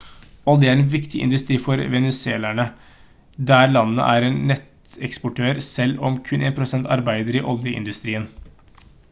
olje er en viktig industri for venezuelanere der landet er en nettoeksportør selv om kun 1 % arbeider i oljeindustrien